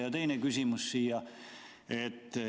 Ja teine küsimus.